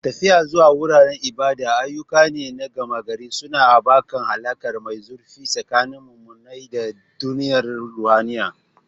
Tafiya zuwa wuraren ibada ayyuka ne na gama-gari, suna haɓaka alaƙa mai zurfi tsakanin muminai da duniyar ruhaniya.